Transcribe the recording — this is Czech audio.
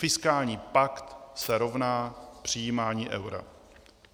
Fiskální pakt se rovná přijímání eura.